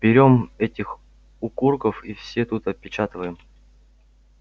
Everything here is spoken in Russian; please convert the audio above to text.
берём этих укурков и все тут опечатываем